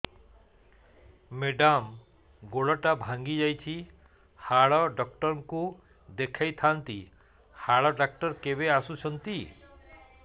madam ଗୋଡ ଟା ଭାଙ୍ଗି ଯାଇଛି ହାଡ ଡକ୍ଟର ଙ୍କୁ ଦେଖାଇ ଥାଆନ୍ତି ହାଡ ଡକ୍ଟର କେବେ ଆସୁଛନ୍ତି